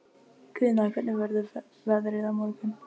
Guðna, hvernig verður veðrið á morgun?